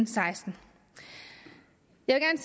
seksten jeg